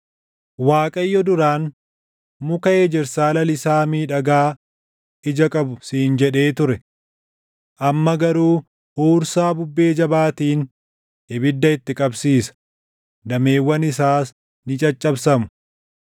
Waaqayyo duraan, Muka ejersaa lalisaa miidhagaa ija qabu siin jedhee ture. Amma garuu huursaa bubbee jabaatiin ibidda itti qabsiisa; dameewwan isaas ni caccabsamu.